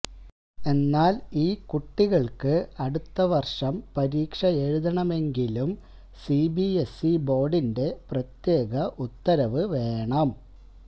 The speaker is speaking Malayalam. എന്നാൽ ഈ കുട്ടികൾക്ക് അടുത്തവർഷം പരീക്ഷയെഴുതണമെങ്കിലും സിബിഎസ്ഇ ബോർഡിന്റെ പ്രത്യേക ഉത്തരവ് വേണം